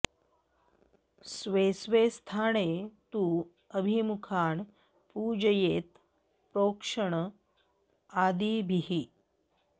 स्वे स्वे स्थाने तु अभिमुखान् पूजयेत् प्रोक्षण आदिभिः